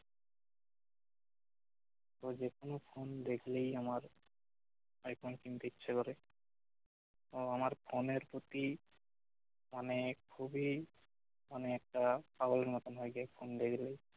তো যেকোনো ফোন দেখলেই আমার আইফোন কিনতে ইচ্ছে করে এবং আমার ফোনের প্রতি অনেক খুবই অনেকটা পাগল এর মতো হয়ে যাই ফোন দেখলেই